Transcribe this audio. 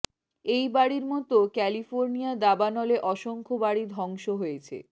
এই বাড়ির মত ক্যালিফোর্নিয়া দাবানলে অসংখ্য বাড়ি ধ্বংস হয়েছে